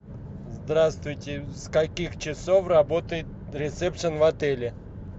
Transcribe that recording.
здравствуйте с каких часов работает ресепшен в отеле